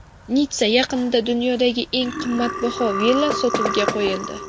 Nitssa yaqinida dunyodagi eng qimmatbaho villa sotuvga qo‘yildi.